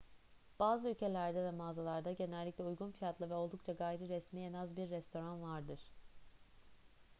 bazı ülkelerde veya mağazalarda genellikle uygun fiyatlı ve oldukça gayriresmi en az bir restoran vardır